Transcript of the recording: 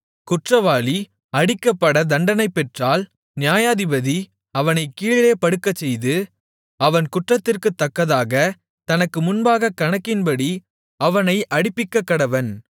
குற்றவாளி அடிக்கப்பட தண்டனை பெற்றால் நியாயாதிபதி அவனைக் கீழே படுக்கச்செய்து அவன் குற்றத்திற்குத்தக்கதாகத் தனக்கு முன்பாகக் கணக்கின்படி அவனை அடிப்பிக்கக்கடவன்